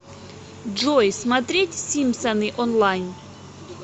джой смотреть симпсоны онлайн